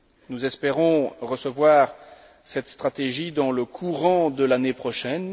Nous espérons recevoir cette stratégie dans le courant de l'année prochaine.